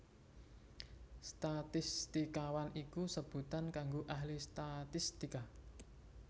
Statistikawan iku sebutan kanggo ahli statistika